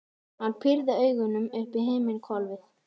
Hann pírði augun upp í himinhvolfið.